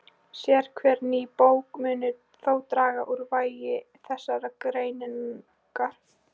Sérhver ný bók mun þó draga úr vægi þessarar greiningar.